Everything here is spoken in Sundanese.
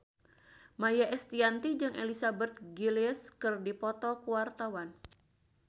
Maia Estianty jeung Elizabeth Gillies keur dipoto ku wartawan